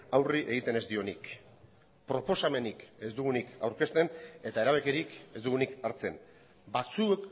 aurre egiten ez dionik proposamenik ez dugunik aurkezten eta erabakirik ez dugunik hartzen batzuk